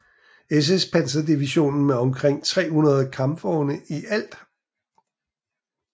SS panserdivision med omkring 300 kampvogne i alt